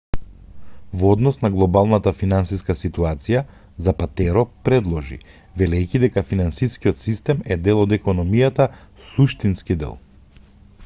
во однос на глобалната финансиска ситуација запатеро продолжи велејќи дека финансискиот систем е дел од економијата суштински дел